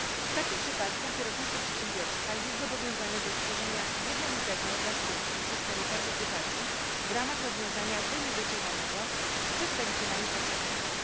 W takim przypadku kierownictwo przedsiębiorstwa jest zobowiązane do stworzenia jednolitego dla spółki systemu partycypacji w ramach rozwiązania wynegocjowanego z przedstawicielami pracowników.